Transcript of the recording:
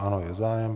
Ano, je zájem.